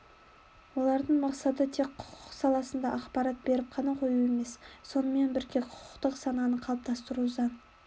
олардың мақсаты тек құқық саласында ақпарат беріп қана қою емес сонымен бірге құқықтық сананы қалыптастыру заң